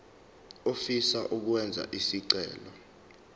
ofisa ukwenza isicelo